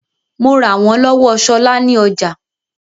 Mo rà wọ́n lọ́wọ́ Ṣọlá ní ọjà